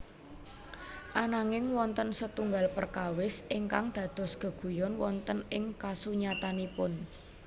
Ananging wonten setunggal perkawis ingkang dados geguyon wonten ing kasunyatanipun